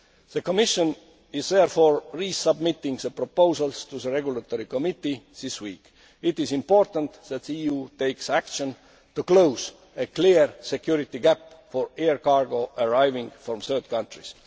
be possible. The Commission is therefore resubmitting the proposals to the Regulatory Committee this week. It is important that the EU takes action to close a clear security gap for air cargo arriving from third